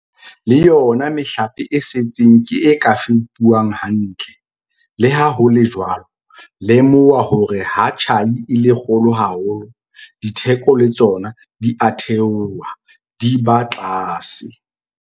Le yona mehlape e setseng ke e ka fepuwang hantle. Le ha ho le jwalo, lemoha hore ha tjhai e le kgolo haholo, ditheko le tsona di a theoha, di ba tlase.